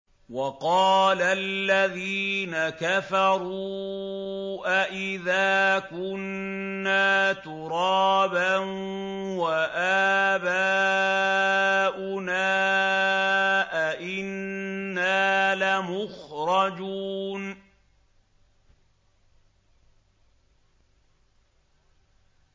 وَقَالَ الَّذِينَ كَفَرُوا أَإِذَا كُنَّا تُرَابًا وَآبَاؤُنَا أَئِنَّا لَمُخْرَجُونَ